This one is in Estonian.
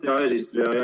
Hea eesistuja!